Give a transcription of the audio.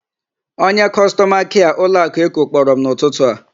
Onye kọstọma kịa ụlọakụ Eko kpọrọ m n'ụtụtụ a.